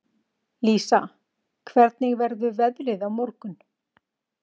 Lísa, hvernig verður veðrið á morgun?